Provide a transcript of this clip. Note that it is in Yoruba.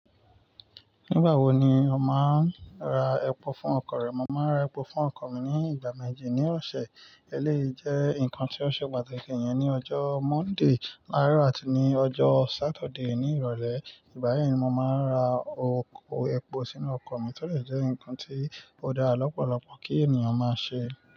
Nígbà wo ni o máa ń ra epo fún ọkọ̀ rẹ? Mo máa ń ra epo fún ọkọ̀ mi ní ìgbà méjì ní ọ̀sẹ̀. Eléyìí jẹ́ nǹkan tí ó ṣe pàtàkì. Iyẹn ni ọjọ́ Monday láàárọ̀ àti ní ọjọ́ Saturday ní ìrọ̀lẹ́. Ìgbayi ni mo máa ń ra oko epo sínú ọkọ̀ mi to de jẹ́ nǹkan tí ó dá lọ́pọ̀lọpọ̀ kí ènìyàn máa ṣe.